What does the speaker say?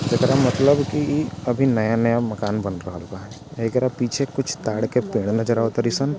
एकरा मतलब की अभी नया-नया मकान बन रहल बा| एकरा पीछे कुछ ताड़ के पेड़ नजर आवतरी सन ।